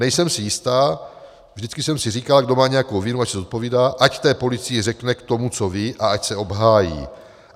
Nejsem si jistá - vždycky jsem si říkala, kdo má nějakou vinu, ať se zodpovídá, ať té policii řekne k tomu, co ví, a ať se obhájí.